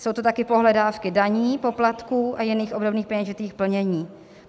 Jsou to taky pohledávky daní, poplatků a jiných obdobných peněžitých plnění.